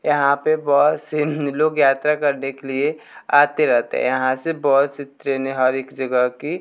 यहां पे बहोत से नि लोग यात्रा करने के लिए आते रहते है यहां से बहुत सी ट्रेने हर एक जगह की--